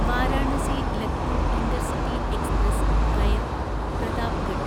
Varanasi Lucknow intercity express (via Pratapgarh)